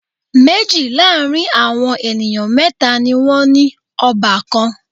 Méjì láàrin àwọn ènìyàn mẹ́tà ni wọ́n ní ọbàkan.